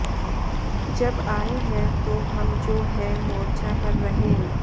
जब आए हैं तो हम जो हैं मोर्चा पर रहे